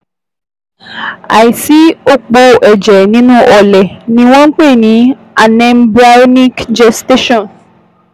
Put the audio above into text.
Àìsí òpó ẹ̀jẹ̀ nínú ọlẹ̀ ni wọ́n ń pè ní anembryonic gestation